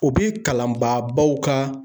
O bi kalan ba baw ka